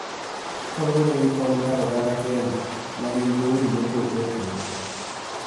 Kaluwore gi kwan mar oganda Kenya ma gin dhoudi mopogore opogore.